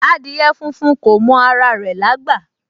Adìẹ funfun kò mọ ara rẹ̀ lágbà